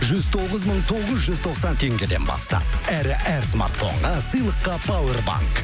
жүз тоғыз мың тоғыз жүз тоқсан теңгеден бастап әрі әр смартфонға сыйлыққа пауэрбанк